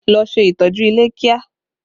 Ló ṣe ìtọ́jú ilé kíá!